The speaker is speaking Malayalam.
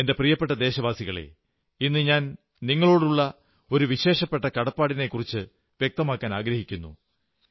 എന്റെ പ്രിയപ്പെട്ട ദേശവാസികളേ ഇന്ന് ഞാൻ നിങ്ങളോടുള്ള ഒരു വിശേഷപ്പെട്ട കടപ്പാടിനെക്കുറിച്ചു വ്യക്തമാക്കാനാഗ്രഹിക്കുന്നു